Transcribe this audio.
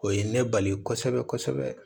O ye ne bali kosɛbɛ kosɛbɛ